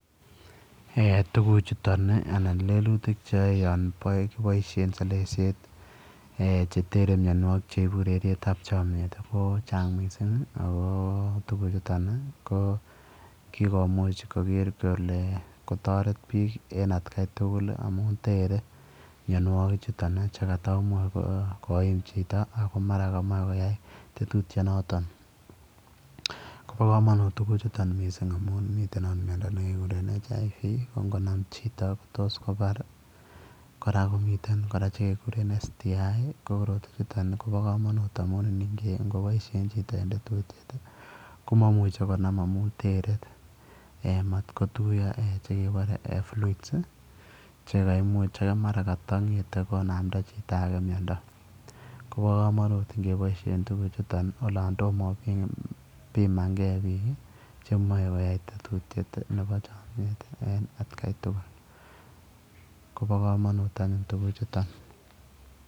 Eeh tuguuk chutoon ii anan lelutiik che yae olaan kiboisien selelelesiet eng che teren mianwagik cheibuu ureriet ab chamyeet koba kamanut missing ako kikomuuch koger kole kotaret biik en at Kai tugul ii amuun there mianwagik chotoon chetamuuch koim chito ako magaat kora kamachei koyai tetutiet notoon ko ba kamanut tuguuk chutoon missing amuun miten akoot miando nekeguren [human immune virus] ne ingonam chitoo ko tos kobaar chitoo kora komiteen che ke kureen [syndrome immune] ko korotwechuu ingoboisien chitoo komamuchei konam amuun tere eeh matko tuyaa eeh chekebare [fluids] ii che kaimuuch che mara kata ngethei konamdai chitoo age miando kobaa kamanuut ingoboisien tuguuk chutoon ii olaan tomah ibimaan kei biik chemae koyai tetutiet nebo chamyet en at kai tugul kobaa kamanuut anyuun tuguuk chutoon.